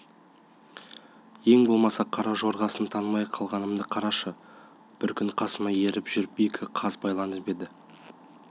ең болмаса қара жорғасын танымай қалғанымды қарашы бір күн қасыма еріп жүріп екі қаз байланып еді